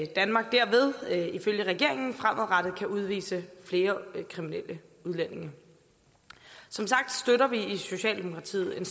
danmark derved ifølge regeringen fremadrettet kan udvise flere kriminelle udlændinge som sagt støtter vi i socialdemokratiet en